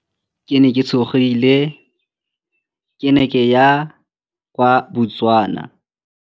Ke ne ke tshogile, ke ne ke ya kwa Botswana.